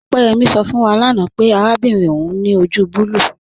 Opeyẹmi sọ fún wà láńà pẹ̀ àràbìnrin ọún ni ojú bùlùù.